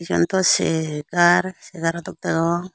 iyen tw chegar chegrw dok degong.